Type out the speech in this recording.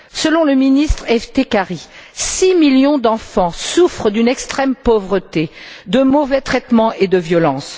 Selon le ministre Eftekhari, six millions d'enfants souffrent d'une extrême pauvreté, de mauvais traitements et de violences.